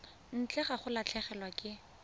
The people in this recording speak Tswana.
ntle ga go latlhegelwa ke